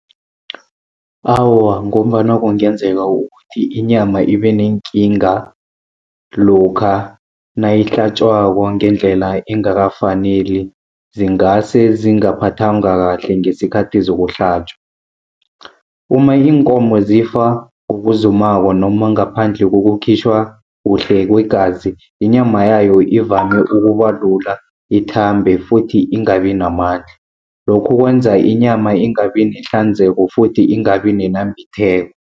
Awa, ngombana kungenzeka ukuthi inyama ibe neenkinga lokha nayihlatjwako ngendlela engakafaneli, zingase zingaphathangwa kahle ngesikhathi zokuhlatjwa. Uma iinkomo zifa ngokuzumako noma ngaphandle kokukhitjhwa kuhle kwegazi, inyama yayo ivame ukuba lula, ithambe futhi ingabi namandla. Lokhu kwenza inyama ingabi nehlanzeko futhi ingabi nenambitheko.